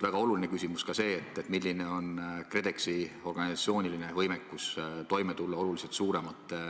Väga oluline küsimus on ka see, milline on KredExi organisatsiooniline võimekus toime tulla oluliselt suuremate